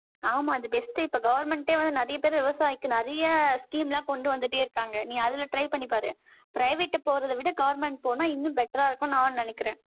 ஆமா, அது best, இப்ப government ஏ வந்து, நிறைய பேர் விவசாயிக்கு நிறைய scheme எல்லாம் கொண்டு வந்துட்டே இருக்காங்க. நீ அதுல try பண்ணி பாரு private க்கு போறதை விட, government போனா, இன்னும் better ஆ இருக்கும்னு, நான் நினைக்கிறேன்.